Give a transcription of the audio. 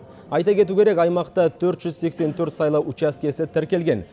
айта кету керек аймақта төрт жүз сексен төрт сайлау учаскесі тіркелген